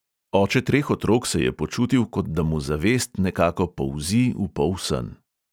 Oče treh otrok se je počutil, kot da mu zavest nekako polzi v polsen.